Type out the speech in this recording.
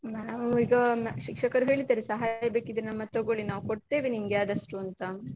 ನಾವು ಈಗ ಶಿಕ್ಷಕರು ಹೇಳಿದ್ದಾರೆ ಸಹಾಯ ಬೇಕಿದ್ರೆ ನಮದ್ ತಗೋಳಿ ನಾವು ಕೊಡ್ತೇವೆ ನಿಮ್ಗೆ ಆದಷ್ಟು ಅಂತ.